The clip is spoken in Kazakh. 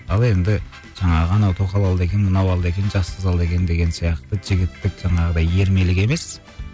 ал енді жаңағы анау тоқал алды екен мынау алды екен жас қыз алды екен деген сияқты жігіттік жаңағыдай ермелік емес